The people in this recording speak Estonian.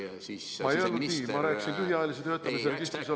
Ma ei öelnud nii, ma rääkisin lühiajalise töötamise registris olevatest inimestest.